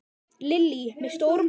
Lillý: Með stórum hópi?